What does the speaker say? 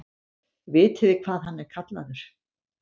Vitiði hvað hann er kallaður?